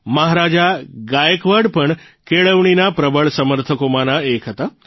મહારાજા ગાયકવાડ પણ કેળવણીના પ્રબળ સમર્થકોમાંના એક હતા